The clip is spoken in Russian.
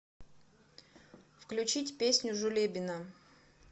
включить песню жулебино